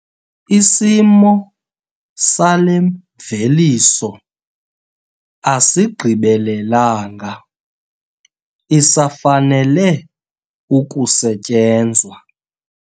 Isimo sale mveliso asigqibelelanga isafanele ukusetyenzwa.